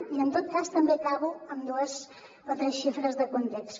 i en tot cas també acabo amb dues o tres xifres de context